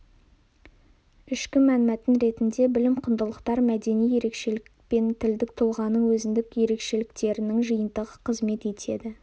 ішкі мәнмәтін ретінде білім құндылықтар мәдени ерекшелік пен тілдік тұлғаның өзіндік ерекшеліктерінің жиынтығы қызмет етеді